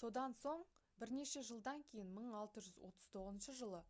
содан соң бірнеше жылдан кейін 1639 жылы